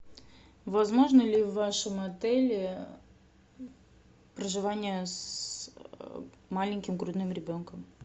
возможно ли в вашем отеле проживание с маленьким грудным ребенком